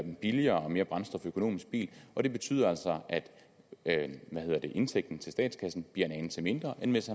en billigere og mere brændstoføkonomisk bil og det betyder altså at indtægten til statskassen bliver en anelse mindre end hvis